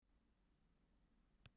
Málið verður þingfest á morgun.